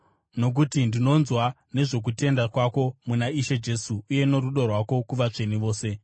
nokuti ndinonzwa nezvokutenda kwako muna Ishe Jesu uye norudo rwako kuvatsvene vose.